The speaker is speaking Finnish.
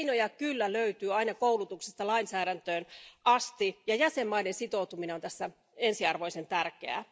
Keinoja kyllä löytyy aina koulutuksesta lainsäädäntöön asti, ja jäsenvaltioiden sitoutuminen on tässä ensiarvoisten tärkeää.